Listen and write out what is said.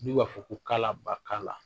N'o b'a fɔ ko kala ba kala